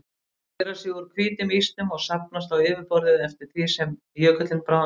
Þeir skera sig úr hvítum ísnum og safnast á yfirborðið eftir því sem jökullinn bráðnar.